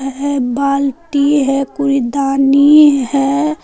यह बाल्टी है कूड़ेदानी है।